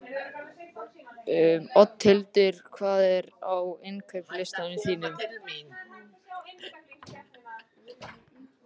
Oddhildur, hvað er á innkaupalistanum mínum?